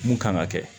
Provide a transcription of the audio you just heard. Mun kan ka kɛ